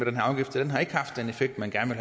effekt man gerne